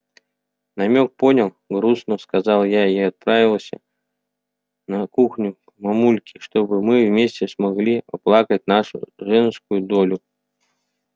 намёк понял грустно сказала я и отправилась на кухню к мамульке чтобы мы вместе смогли оплакать нашу женскую долю